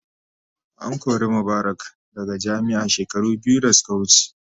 An kori Mubarak daga jami'a shekaru biyu da suka wuce.